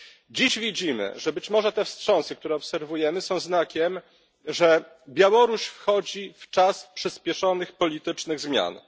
Dziś widzimy, że być może te wstrząsy, które obserwujemy, są znakiem, że Białoruś wchodzi w czas przyspieszonych politycznych zmian.